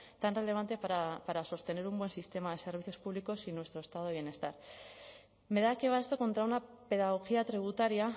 tan relevante para sostener un buen sistema de servicios públicos y nuestro estado de bienestar me da que va esto contra una pedagogía tributaria